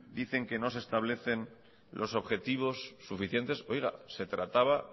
dicen que no se establecen los objetivos suficientes oiga se trataba